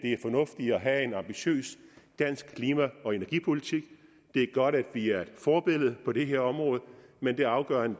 have en ambitiøs dansk klima og energipolitik det er godt at vi er et forbillede på det her område men det afgørende